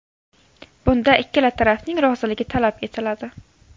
Bunda ikkala tarafning roziligi talab etiladi.